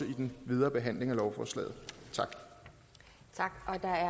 i den videre behandling af lovforslaget tak